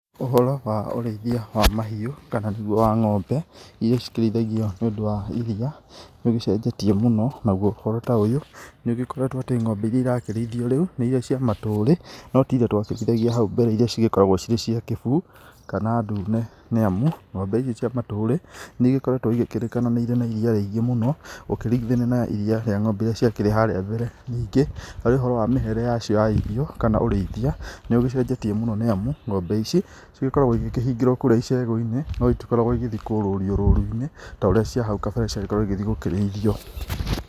Ũhoro wa ũreithia wa mahiũ, kana nĩguo wa ngombe irĩa ci kĩrĩithagio nĩ ũndũ wa iria nĩ ũgĩ cenjetie mũno. Naguo ũhoro ta ũyũ nĩ ũgĩkoretwo atĩ ngombe irĩa irakĩrĩithio rĩu nĩ irĩa cia matũrĩ no ti irĩa twakĩrĩithagia hau mbere irĩa cigĩkoragwo cirĩ cia kĩbuu kana ndune, nĩ amu ngombe ici cia matũrĩ nĩ igĩkoragwo igĩkĩrĩkana nĩ irĩ na iria rĩingĩ mũno ũkĩringithania na ngombe irĩa cia kĩrĩ harĩa mbere. Ningĩ harĩ ũhoro wa mĩhere ya cio wa irio, kana ũreithia nĩ ũgĩcenjetie mũno nĩ amu, ngombe ici ci gĩkoragwo igĩkĩhingĩrwo kũũrĩa icegũ-inĩ, no itikoragwo igĩthiĩ kũrũrio rũru-inĩ ta ũrĩa cia hau kabere ciagĩkoragwo igĩgĩthiĩ gũkĩrĩithio.